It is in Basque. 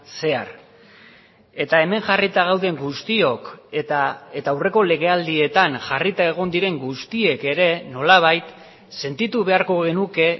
zehar eta hemen jarrita gauden guztiok eta aurreko legealdietan jarrita egon diren guztiek ere nolabait sentitu beharko genuke